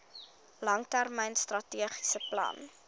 langtermyn strategiese plan